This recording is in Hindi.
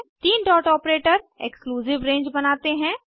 तीन डॉट ऑपरेटर एक्सक्लूसिव रेंज बनाते हैं